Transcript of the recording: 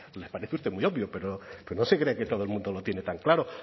le parece a usted muy obvio pero no se crea que todo el mundo lo tiene tan claro